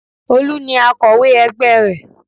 Olú ni akọ̀wé ẹgbẹ́ rẹ̀